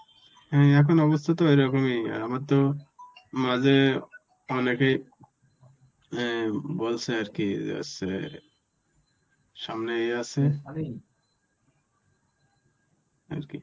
হ্যাঁ এখন অবস্থা তো এরকমই আর আমার তো মাঝে অনেকেই অ্যাঁ বলছে আর কি হচ্ছে সামনেই আছে ইয়ে আছে আর কি.